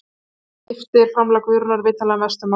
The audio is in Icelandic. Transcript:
Þar skiptir framlag Guðrúnar vitanlega mestu máli.